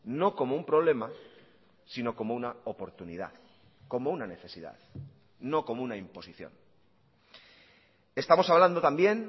no como un problema sino como una oportunidad como una necesidad no como una imposición estamos hablando también